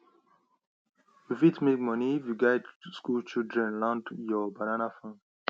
you fit make money if you guide school children round your banana farm